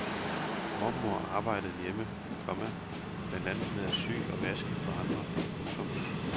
Mormor arbejdede hjemme, komma blandt andet med at sy og vaske for andre. punktum